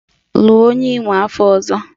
Lụọ onye Imo afọ ọzọ!